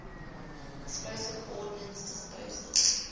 explosive ordnance disposal